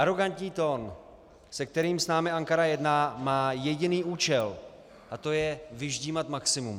Arogantní tón, se kterým s námi Ankara jedná, má jediný účel, a to je vyždímat maximum.